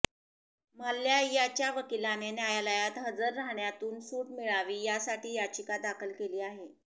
माल्ल्या यांच्या वकिलाने न्यायालयात हजर राहण्यातून सूट मिळावी यासाठी याचिका दाखल केली आहे